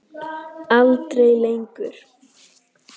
Aldrei lengur.